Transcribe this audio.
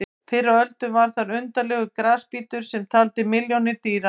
Fyrr á öldum var þar undarlegur grasbítur sem taldi milljónir dýra.